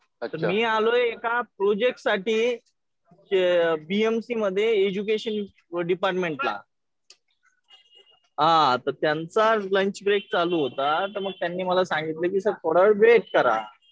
मी आलोय एका प्रोजेक्टसाठी बीएमसी मध्ये एज्युकेशन डिपार्टमेंटला. हा तर त्यांचा लंच ब्रेक चालू होता. तर मग त्यांनी मला सांगितलं कि सर थोडा वेळ वेट करा.